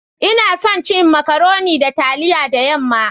Ina son cin " macaroni" da taliya da yam'ma